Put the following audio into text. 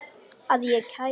Að ég kæmi?